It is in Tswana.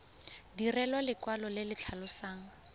direlwa lekwalo le le tlhalosang